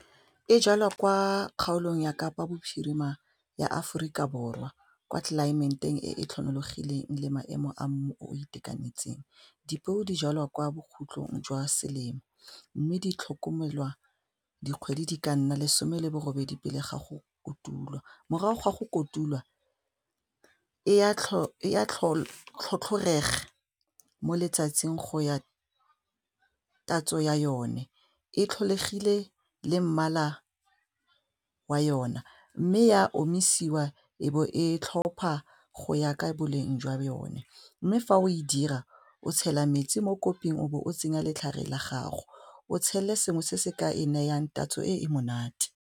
E jalwa kwa kgaolong ya kapa bophirima ya Aforika Borwa kwa tlelaemeteng e e tlhomologileng le maemo a mo o itekanetseng dipeo di jalwa kwa bokhutlong jwa selemo mme di tlhokomelwa dikgwedi di ka nna lesome le bo robedi pele ga go kotulwa morago ga go kotulwa e ya tlhotlhorega mo letsatsing go ya tatso ya yone, e tlholegile le mmala wa yona mme e a omisiwa e bo e tlhopha go ya ka boleng jwa yone mme fa o e dira o tshela metsi mo koping o be o tsenya letlhare la gago o tshele sengwe se se ka e nayang tatso e e monate.